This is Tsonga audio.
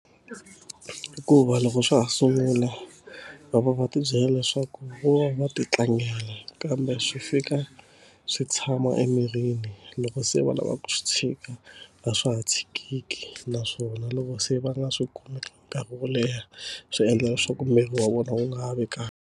Hikuva loko swa ha sungula va va va tibyela leswaku va va ti tlangela kambe swi fika swi tshama emirini loko se va lavaka ku swi tshika a swa ha tshikeki naswona loko se va nga swi kumi nkarhi wo leha swi endla leswaku miri wa vona wu nga ha vekaka.